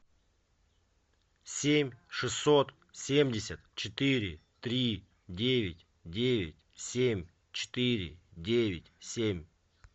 семь шестьсот семьдесят четыре три девять девять семь четыре девять семь